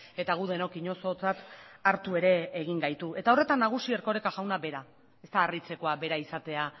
eta gu denok inozotzat hartu ere egin gaitu eta horretan nagusi erkoreka jauna bera ez da harritzekoa bera izatea